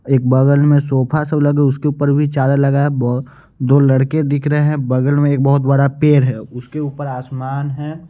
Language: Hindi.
एक बगल में सोफा स लगे उसके ऊपर भी चादर लगा है बो दो लड़के दिख रहे हैं बगल में एक बहोत बड़ा पेड़ है उसके ऊपर आसमान है।